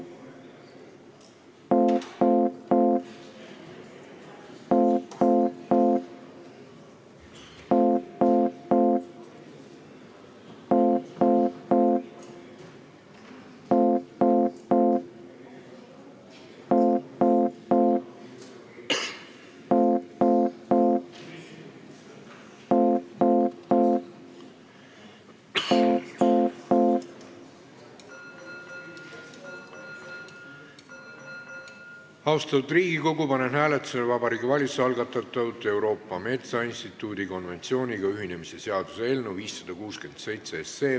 Austatud Riigikogu, panen hääletusele Vabariigi Valitsuse algatatud Euroopa Metsainstituudi konventsiooniga ühinemise seaduse eelnõu 567.